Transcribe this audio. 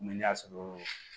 Mɛ ne y'a sɔrɔ